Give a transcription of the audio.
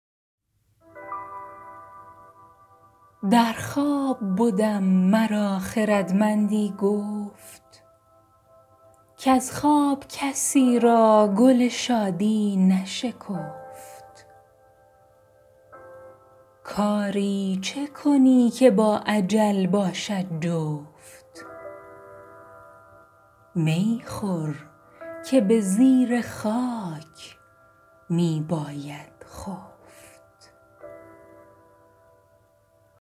در خواب بدم مرا خردمندی گفت کز خواب کسی را گل شادی نشکفت کاری چه کنی که با اجل باشد جفت می خور که به زیر خاک می باید خفت